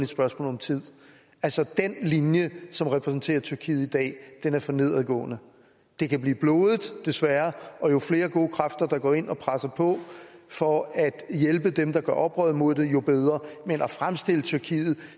spørgsmål om tid den linje som repræsenterer tyrkiet i dag er for nedadgående det kan blive blodigt desværre og jo flere gode kræfter der går ind og presser på for at hjælpe dem der gør oprør imod det jo bedre men at fremstille tyrkiet